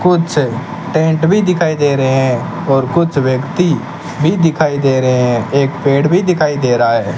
कुछ टेंट भी दिखाई दे रहे हैं और कुछ व्यक्ति भी दिखाई दे रहे हैं एक पेड़ भी दिखाई दे रहा है।